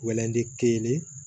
kelen